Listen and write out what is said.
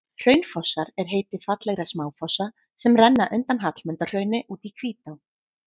Hraunfossar er heiti fallegra smáfossa sem renna undan Hallmundarhrauni út í Hvítá.